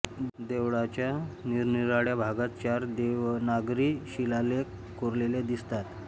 देवळाच्या निरनिराळया भागात चार देवनागरी शिलालेख कोरलेले दिसतात